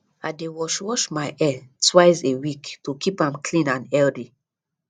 i dey wash wash my hair twice a week to keep am clean and healthy